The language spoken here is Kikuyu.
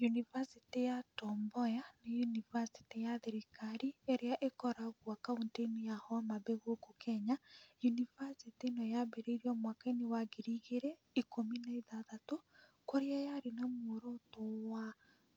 Yunivasĩtĩ ya Tom Mboya nĩ yunivasiĩtĩ ya thirikari ĩrĩa ĩkoragwo Kaũntĩ-inĩ ya Homabay gũkũ Kenya. Yunivasĩtĩ ĩno yambĩrĩirio mwaka-inĩ wa ngiri igĩrĩ ikũmi na ithathatũ kũrĩa yarĩ na muoroto wa